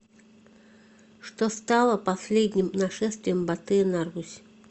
что стало последним нашествием батыя на русь